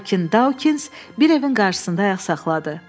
Lakin Dawkins bir evin qabağında ayaq saxladı.